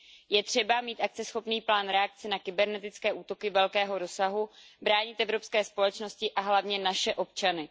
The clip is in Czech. Je třeba mít akceschopný plán reakce na kybernetické útoky velkého rozsahu, bránit evropské společnosti a hlavně naše občany.